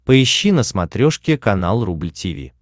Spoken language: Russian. поищи на смотрешке канал рубль ти ви